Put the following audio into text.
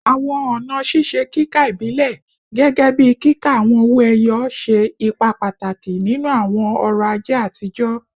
Awọn ọna ṣiṣe kika ibilẹ, gẹgẹbi kika awọn owo eyo, ṣe ipa pataki ninu awọn ọrọ-aje atijọ